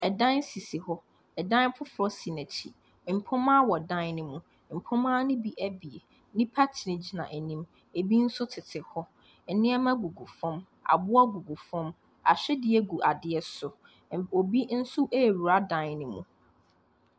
Ɛdan sisi hɔ, ɛdan foforɔ so n'akyi. mpoma wɔ dan ne ho. mpoma ne bi abien. Nnipa gyina gyina anim. Ebi nso tete hɔ. Nneɛma gugu fɔm, aboa gugu fɔm. Ahwedeɛ gu adeɛ so. Obi nso awura dan ne mu.